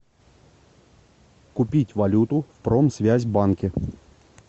купить валюту в промсвязьбанке